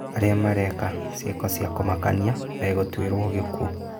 Arĩa mareka ciĩko cia kũmakania megũtuĩrwo gĩkuũ